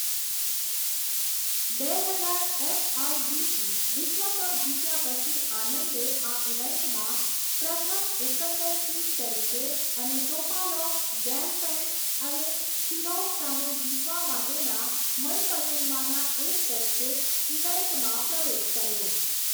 બે હજાર એફઆઇડીઈ વિશ્વ કપ જીત્યા પછી, આનંદે આ ઈવેન્ટમાં પ્રથમ એકંદર સીડ તરીકે અને ટોપાલોવ, ગેલફેન્ડ અને શિરોવ સામે જીતવા માટેના મનપસંદમાંના એક તરીકે ઇવેન્ટમાં પ્રવેશ કર્યો.